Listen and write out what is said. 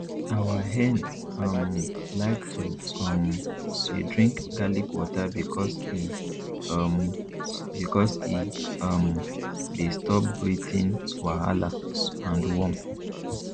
our hen um like to um dey drink garlic water because e um because e um dey stop breathing wahala and worm